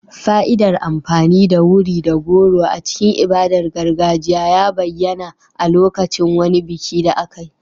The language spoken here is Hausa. Fa'idar amfani da wuri da goro a cikin ibadar gargajiya ya bayyana a lokacin wani biki da aka yi.